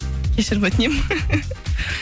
кешірім өтінемін